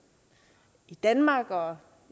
i danmark og